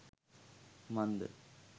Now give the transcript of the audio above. මන්ද